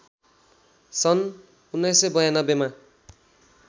सन् १९९२ मा